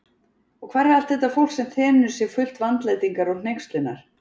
Og hvar er allt þetta fólk, sem þenur sig fullt vandlætingar og hneykslunar?